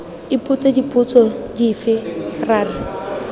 ipotsa dipotso dife ra re